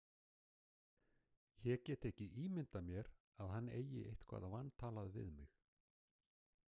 Ég get ekki ímyndað mér að hann eigi eitthvað vantalað við mig.